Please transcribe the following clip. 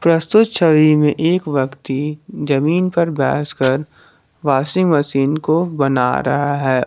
प्रस्तुत छवि में एक व्यक्ति जमीन पर बैस कर वाशिंग मशीन को बना रहा है।